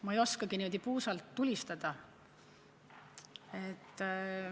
Ma ei oskagi niimoodi puusalt tulistada.